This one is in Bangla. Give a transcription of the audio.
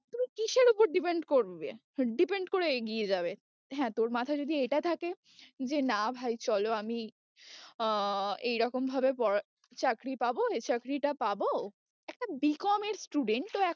তুমি কিসের উপর depend করবে depend করে এগিয়ে যাবে? হ্যাঁ তোর মাথায় যদি এটা থাকে যে না ভাই চলো আমি আহ এই রকম ভাবে পড়া চাকরি পাবো, এই চাকরিটা পাবো, একটা B. com এর student তো